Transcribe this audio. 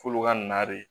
F'olu ka na de